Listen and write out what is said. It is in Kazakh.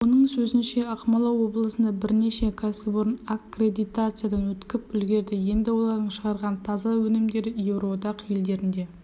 оның сөзінше ақмола облысында бірнеше кәсіпорын аккредитациядан өткіп үлгерді енді олардың шығарған таза өнімдері еуроодақ елдеріне